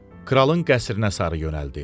Kralın qəsrinə sarı yönəldi.